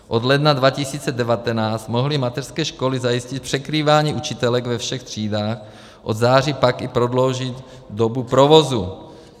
Od ledna 2019 mohly mateřské školy zajistit překrývání učitelek ve všech třídách, od září pak i prodloužit dobu provozu.